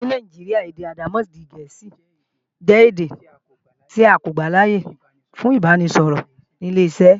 Ní Nàìjíríà, èdè àdàmọ̀dì Gẹ̀ẹ́sì jẹ́ èdè tí a kò gbàláyè fún ìbáraẹnisọ̀rọ̀ ní ileṣẹ́.